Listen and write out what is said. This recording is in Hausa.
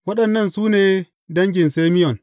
Waɗannan su ne dangin Simeyon.